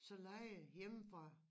Så lejer I hjemmefra